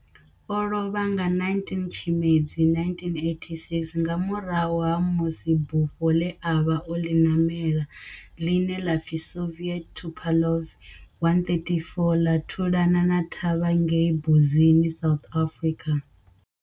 O lovha nga 19 Tshimedzi 1986 nga murahu ha musi bufho le a vha o ḽi namela, ḽine ḽa pfi Soviet Tupolev 134 la thulana thavha ngei Mbuzini, South Africa.